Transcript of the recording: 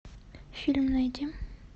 фильм найди